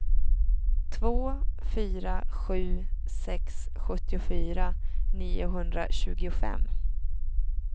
två fyra sju sex sjuttiofyra niohundratjugofem